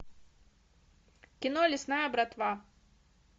кино лесная братва